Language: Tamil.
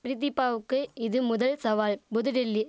பிரிதிபாவுக்கு இது முதல் சவால் புதுடெல்லி